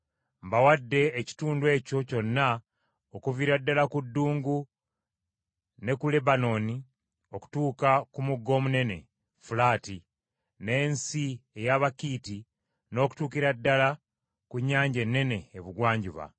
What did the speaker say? Mbawadde ekitundu ekyo kyonna okuviira ddala ku ddungu ne ku Lebanooni, okutuuka ku mugga omunene, Fulaati, n’ensi ey’Abakiiti n’okutuukira ddala ku Nnyanja Ennene ebugwanjuba.